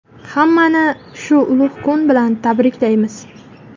Hammani shu ulug‘ kun bilan tabriklaymiz.